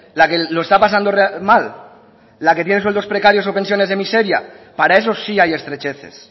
la que lo está pasando mal la que tiene sueldos precarios o pensiones de miseria para esos sí hay estrecheces